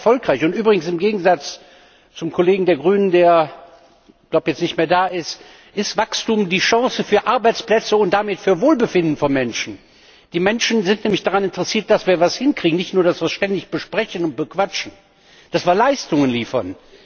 Das ist erfolgreich übrigens im Gegensatz zur Auffassung des Kollegen von den Grünen, der, glaube ich, jetzt nicht mehr da ist, ist Wachstum die Chance auf Arbeitsplätze und damit auf Wohlbefinden von Menschen. Die Menschen sind nämlich daran interessiert, dass wir etwas hinkriegen, nicht nur, dass wir es ständig besprechen und bequatschen, dass wir Leistungen liefern.